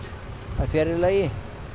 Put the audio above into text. það er fjarri lagi